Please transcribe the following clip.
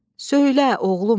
Söylə, oğlum!